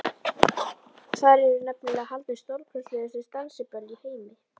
Þar eru nefnilega haldin stórkostlegustu dansiböll í heimi.